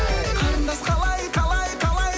қарындас қалай қалай қалай